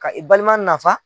Ka i balima nafa.